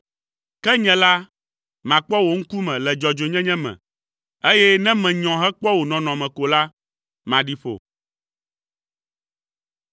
Ke nye la, makpɔ wò ŋkume le dzɔdzɔenyenye me, eye ne menyɔ hekpɔ wò nɔnɔme ko la, maɖi ƒo.